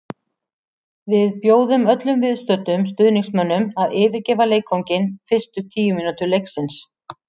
Við bjóðum öllum viðstöddum stuðningsmönnum að yfirgefa leikvanginn fyrstu tíu mínútur leiksins.